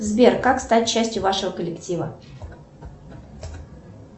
сбер как стать частью вашего коллектива